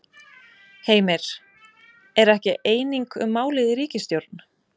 Heimir: Er ekki eining um málið í ríkisstjórn?